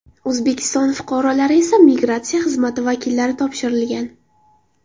O‘zbekiston fuqarolari esa migratsiya xizmati vakillari topshirilgan.